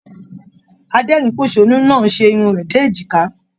Adẹ́rínposónú náà ṣe irun rẹ dé èjìkà.